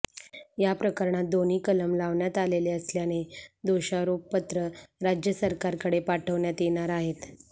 या प्रकरणांत दोन्ही कलम लावण्यात आलेले असल्याने दोषारोपपत्र राज्य सरकारकडे पाठवण्यात येणार आहेत